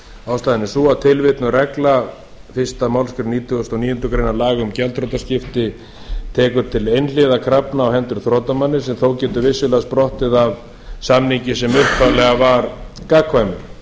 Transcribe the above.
ástæðan er sú að tilvitnuð regla fyrstu málsgrein nítugasta og níundu grein laga um gjaldþrotaskipti tekur til einhliða krafna á hendur þrotamanni sem þó getur vissulega sprottið af samningi sem upphaflega var gagnkvæmur